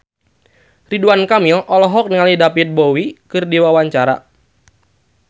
Ridwan Kamil olohok ningali David Bowie keur diwawancara